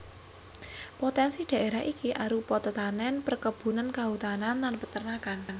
Potènsi dhaérah iki arupa tetanèn perkebunan kahutanan lan peternakan